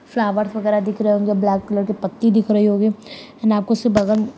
flowers वगैरह दिख रहे होंगे ब्लैक कलर की पत्ती दिख रही होगी आपको उसके बगल--